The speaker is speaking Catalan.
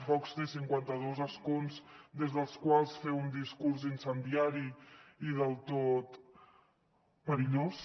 vox té cinquanta dos escons des dels quals fer un discurs incendiari i del tot perillós